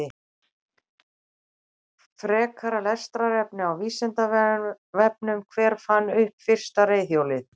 Frekara lesefni á Vísindavefnum: Hver fann upp fyrsta reiðhjólið?